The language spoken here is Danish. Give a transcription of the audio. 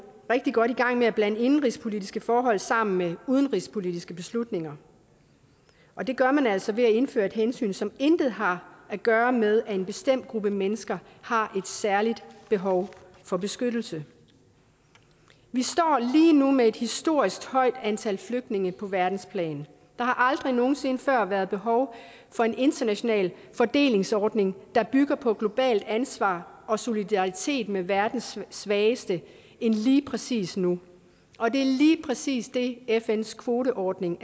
rigtig godt i gang med at blande indenrigspolitiske forhold sammen med udenrigspolitiske beslutninger og det gør man altså ved at indføre et hensyn som intet har at gøre med at en bestemt gruppe mennesker har et særligt behov for beskyttelse vi står lige nu med et historisk højt antal flygtninge på verdensplan der har aldrig nogen sinde før været behov for en international fordelingsordning der bygger på globalt ansvar og solidaritet med verdens svageste end lige præcis nu og det er lige præcis det fns kvoteordning